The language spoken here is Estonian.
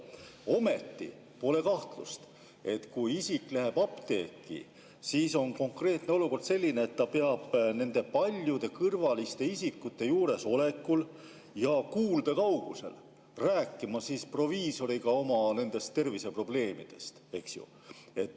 Ometi pole kahtlust, et kui isik läheb apteeki, siis on konkreetne olukord selline, et ta peab paljude kõrvaliste isikute juuresolekul ja nende kuuldekaugusel rääkima proviisoriga oma terviseprobleemidest, eks ju.